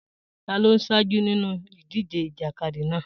Ta ló ń ṣáájú nínú ìdíje ìjàkadì náà?